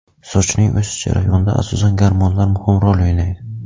Sochning o‘sish jarayonida asosan gormonlar muhim rol o‘ynaydi.